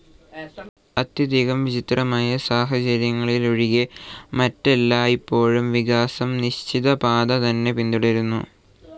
അത്യധികം വിചിത്രമായ സാഹചര്യങ്ങളിലൊഴികെ, മറ്റെല്ലായ്പ്പോഴും വികാസം നിശ്ചിത പാത തന്നെ പിന്തുടരുന്നു.